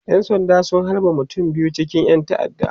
ƴan sanda sun halbe mutum biyu cikin ƴan ta'adda